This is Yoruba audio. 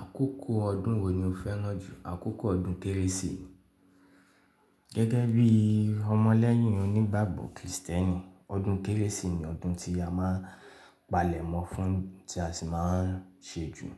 Àkókò ọdún wo ni o fẹ́ràn jù? Àkókò ọdún kérésì, gẹ́gẹ́ bí ọmọ lẹ́yìn onígbàgbọ́ Kristẹni, ọdún kérésì ni ọdún tí a máa n palẹ̀mọ́ fún tí a sì máa n ṣe jù.